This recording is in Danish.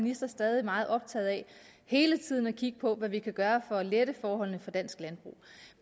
minister stadig meget optaget af hele tiden at kigge på hvad vi kan gøre for at lette forholdene for dansk landbrug